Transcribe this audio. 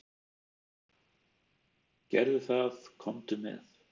"""Gerðu það, komdu með."""